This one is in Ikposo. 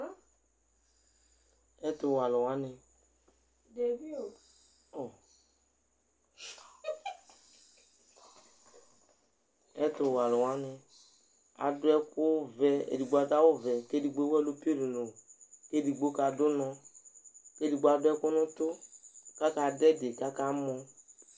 Ɛtʋwɛalʋ wanɩ debi oo o ɛtʋwɛalʋ wanɩ adʋ ɛkʋvɛ, edigbo adʋ awʋvɛ kʋ edigbo ewu ɛlʋ piononoo kʋ edigbbo kadʋ ʋnɔ kʋ edigbo adʋ ɛkʋ nʋ ʋtʋ kʋ akadʋ ɛdɩ kʋ akamɔ